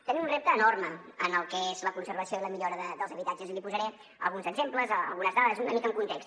tenim un repte enorme en el que és la conservació i la millora dels habitatges i li posaré alguns exemples algunes dades una mica en context